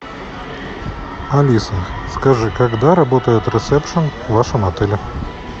алиса скажи когда работает ресепшн в вашем отеле